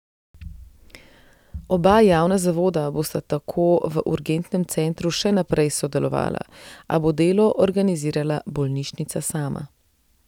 Oba javna zavoda bosta tako v urgentnem centru še naprej sodelovala, a bo delo organizirala bolnišnica sama.